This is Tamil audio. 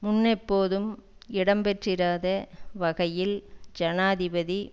முன்னெப்போதும் இடம்பெற்றிராத வகையில் ஜனாதிபதி